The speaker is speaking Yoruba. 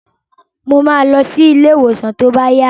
Mo ma lọ sí ilé ìwòsàn tó bá yá